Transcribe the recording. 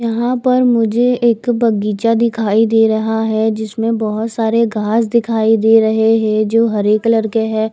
यहाँ पर मुझे एक बगीचा दिखाई दे रहा है जिसमे बहुत सारे घास दिखाई दे रहे है जो हरे कलर के है।